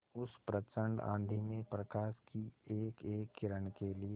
उस प्रचंड आँधी में प्रकाश की एकएक किरण के लिए